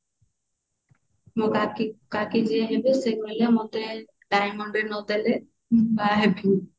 ମୋ କାକି କାକି ଯିଏ ହେବେ ସେ କହିଲେ ମତେ diamond ring ନଦେଲେ ମୁଁ ବାହା ହେବିନି